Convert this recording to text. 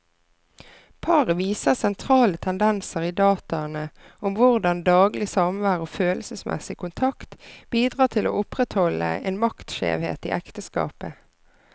Paret viser sentrale tendenser i dataene om hvordan daglig samvær og følelsesmessig kontakt bidrar til å opprettholde en maktskjevhet i ekteskapet.